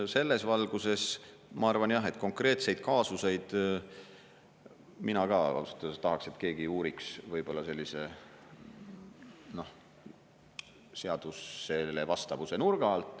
Selles valguses ma arvan jah, et konkreetseid kaasuseid mina ka ausalt öeldes tahaks, et keegi uuriks seadusele vastavuse nurga alt.